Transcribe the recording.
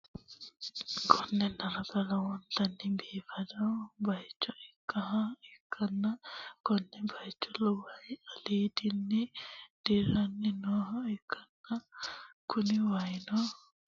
Konne darga lowontanni biifado bayicho ikkinoha ikkanna, konne bayicho waay aliidinni dirranni nooha ikkanna, kuni waayino lowontanni biifadoho, konni waay badheenni biifanno bayichi no.